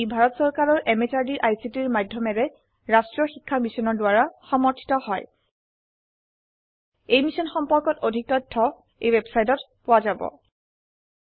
ই ভাৰত চৰকাৰৰ MHRDৰ ICTৰ মাধয়মেৰে ৰাস্ত্ৰীয় শিক্ষা মিছনৰ দ্ৱাৰা সমৰ্থিত হয় ই মিশ্যন সম্পৰ্কত অধিক তথ্য spoken hyphen tutorial dot org slash এনএমইআইচিত হাইফেন ইন্ট্ৰ ৱেবচাইটত পোৱা যাব